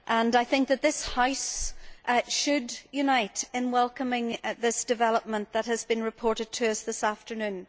I think that this House should unite in welcoming this development that has been reported to us this afternoon.